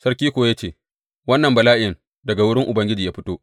Sarki kuma ya ce, Wannan bala’in daga wurin Ubangiji ya fito.